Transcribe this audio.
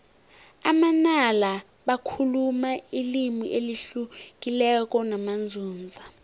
amanala bakhuluma ilimi elihlukileko namanzunza